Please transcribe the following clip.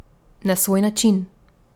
Na svoj način.